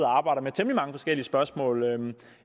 og arbejder med temmelig mange forskellige spørgsmål